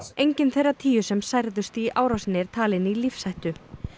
enginn þeirra tíu sem særðust í árásinni er talinn í lífshættu